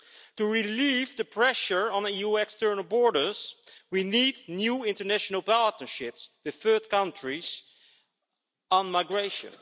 To relieve the pressure on EU external borders we need new international partnerships with third countries on migration.